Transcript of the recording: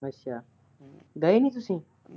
ਅੱਛਾ ਗਏ ਨੀ ਤੁਸੀਂ।